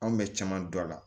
Anw bɛ caman dɔn a la